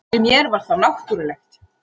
Fyrir mér var það náttúrulegt